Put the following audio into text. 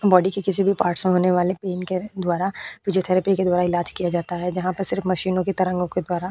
body के किसी भी पार्ट्स में होने वाले पेन के द्वारा फिजियोथेरेपी के द्वारा इलाज किया जाता है जहाँ पर सिर्फ मशीनों की तरंगो के द्वारा --